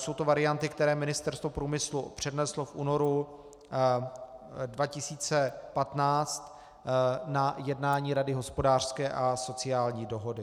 Jsou to varianty, které Ministerstvo průmyslu předneslo v únoru 2015 na jednání Rady hospodářské a sociální dohody.